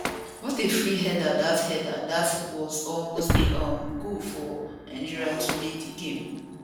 what a free header dat header dat was almost a um goal for nigeria to lead di game